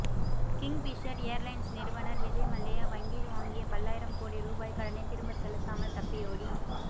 king பிஷர் airlines நிறுவனர் விஜய் மல்லையா வங்கியில் வாங்கிய பல்லாயிரம் கோடி ரூபாய் கடனை திரும்பச் செலுத்தாமல் தப்பியோடி